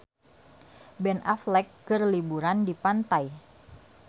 Ben Affleck keur liburan di pantai